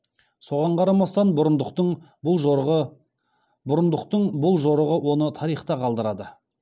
соған қарамастан бұрындықтың бұл жорығы оны тарихта қалдырады